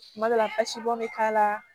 Tuma dɔ la basi bɔn bɛ k'a la